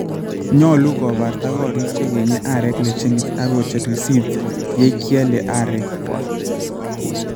Nyolu kobarta korik chegenye arek leshenit ak kocher risiit yekeal arekwak.